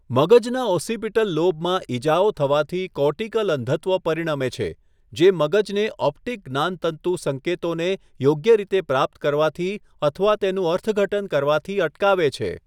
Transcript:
મગજના ઓસિપિટલ લોબમાં ઇજાઓ થવાથી કોર્ટીકલ અંધત્વ પરિણમે છે, જે મગજને ઓપ્ટિક જ્ઞાનતંતુ સંકેતોને યોગ્ય રીતે પ્રાપ્ત કરવાથી અથવા તેનું અર્થઘટન કરવાથી અટકાવે છે.